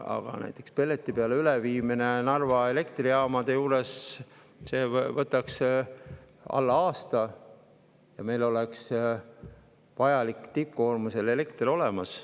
Aga näiteks Narva elektrijaama üleviimine pelleti peale võtaks alla aasta ja meil oleks tippkoormuse ajal vajalik elekter olemas.